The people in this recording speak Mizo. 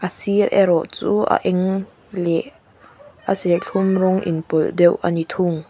a sir erawh chu a eng leh a serthlum rawng inpawlh deuh a ni thung.